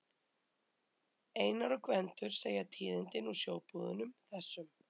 Einar og Gvendur segja tíðindi úr sjóbúðunum, þessum